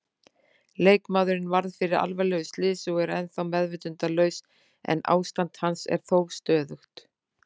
Leikmaðurinn varð fyrir alvarlegu slysi og er ennþá meðvitundarlaus en ástand hans er þó stöðugt.